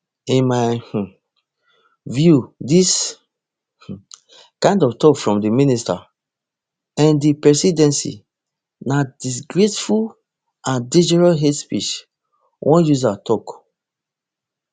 in my um view dis um kind of tok from di minister in di presidency na disgraceful and dangerous hate speech one user tok